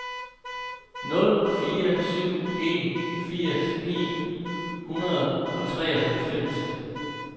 nul fire syv en firs ni hundrede og treoghalvfems